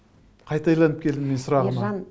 қайта айналып келдім сұрағыма